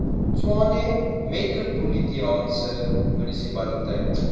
tshwane metropolitaanse munisipaliteit